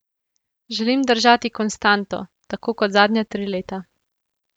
Želim držati konstanto, tako kot zadnja tri leta.